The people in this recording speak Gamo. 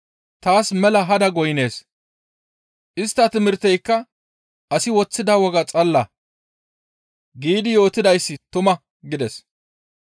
Taas mela hada goynnees; istta timirteyka asi woththida woga xalla› giidi yootidayssi tuma» gides.